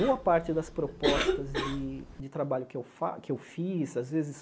Boa parte das propostas de de trabalho que eu fa que eu fiz, às vezes,